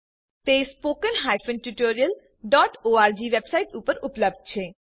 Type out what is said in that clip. તેઓ spoken tutorialઓર્ગ website ઉપર ઉપલબ્ધ છે